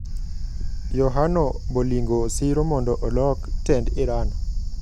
Yohano Bolingo siro mondo olok tend Iran.